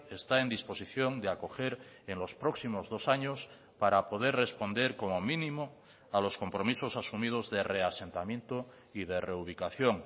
está en disposición de acoger en los próximos dos años para poder responder como mínimo a los compromisos asumidos de reasentamiento y de reubicación